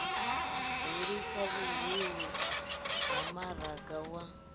hulisa vhuhulu ha maraga wa